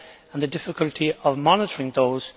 and the difficulty of monitoring those?